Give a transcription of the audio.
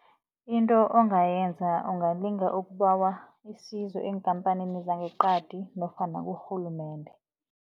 Into ongayenza ungalinga ukubawa isizo eenkhamphanini zangeqadi nofana kurhulumende.